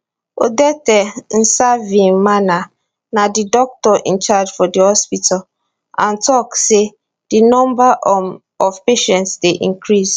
odette nsavyimana na di doctor in charge for di hospital and tok say di number um of patients dey increase